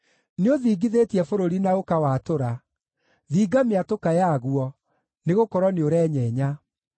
Nĩũthingithĩtie bũrũri na ũkawatũra; thinga mĩatũka yaguo, nĩgũkorwo nĩũrenyenya.